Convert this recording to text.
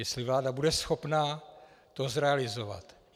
Jestli vláda bude schopná to zrealizovat.